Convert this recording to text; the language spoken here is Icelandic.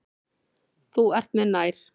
Þú ert mér nær.